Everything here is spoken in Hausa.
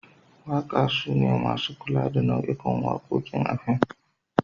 Waka sune masu kula da nau'ikan wakokin a fim.